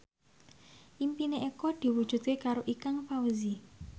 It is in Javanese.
impine Eko diwujudke karo Ikang Fawzi